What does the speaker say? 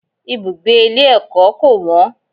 Ibùgbé ilé ẹ̀kọ́ kò wọ́n.